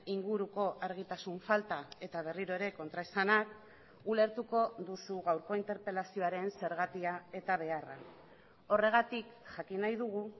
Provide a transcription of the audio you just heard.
inguruko argitasun falta eta berriro ere kontraesanak ulertuko duzu gaurko interpelazioaren zergatia eta beharra horregatik jakin nahi dugu